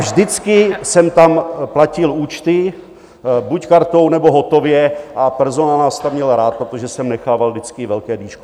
Vždycky jsem tam platil účty, buď kartou, nebo hotově, a personál nás tam měl rád, protože jsem nechával vždycky velké dýško.